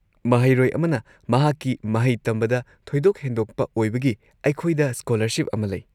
ꯃꯍꯩꯔꯣꯏ ꯑꯃꯅ ꯃꯍꯥꯛꯀꯤ ꯃꯍꯩ ꯇꯝꯕꯗ ꯊꯣꯏꯗꯣꯛ ꯍꯦꯟꯗꯣꯛꯄ ꯑꯣꯏꯕꯒꯤ ꯑꯩꯈꯣꯏꯗ ꯁ꯭ꯀꯣꯂꯔꯁꯤꯞ ꯑꯃ ꯂꯩ꯫